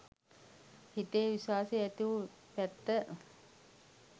හිතේ විශ්වාසය ඇතිවු පැත්ත